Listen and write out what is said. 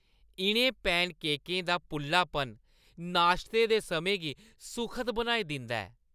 इʼनें पैनकेकें दा पुल्लापन नाश्ते दे समें गी सुखद बनाई दिंदा ऐ।